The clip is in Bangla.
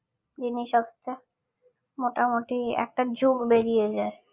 মোটামুটি একটা যুগ বেরিয়ে যায়